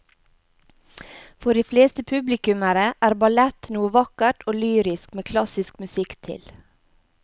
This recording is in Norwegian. For de fleste publikummere er ballett noe vakkert og lyrisk med klassisk musikk til.